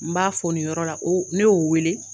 N b'a fo ni yɔrɔ la ne y'o wele.